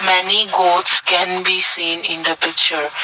many goats can be seen in the picture.